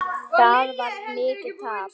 Það varð mikið tap.